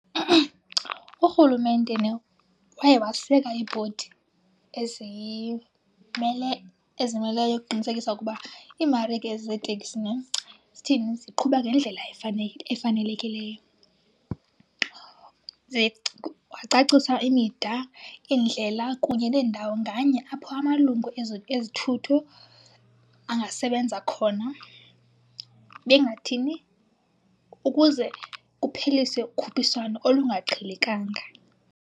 Urhulumente nhe waye waseka ibhodi ezimeleyo ukuqinisekisa ukuba iimarike zeeteksi nhe, zithini, ziqhuba ngendlela efanelekileyo. Ze kwacaciswa imida, iindlela kunye nendawo nganye apho amalungu ezithuthi angasebenza khona. Bengathini? Ukuze kupheliswe ukhuphiswano olungaqhelekanga.